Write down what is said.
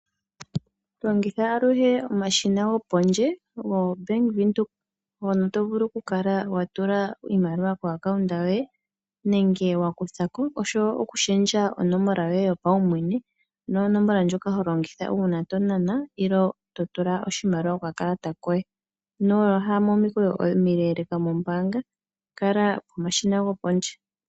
Longitha aluhe omashina gopondje goBank Windhoek hono to vulu okukala wa tula iimaliwa komayalulilo goye gombaanga nenge wa kutha ko, osho wo okulundulula onomola yoye yopaumwene, ano onomola ndjoka ho longitha uuna to nana nenge to tula oshimaliwa kokakalata koye. Ino ya momikweyo omileeleka mombaanga , kala pomashina gopondje.